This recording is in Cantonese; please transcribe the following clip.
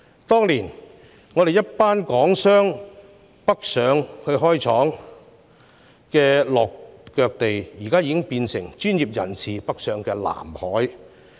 當年我們一群港商北上開設工廠的落腳地，現在已變成專業人士北上的"藍海"。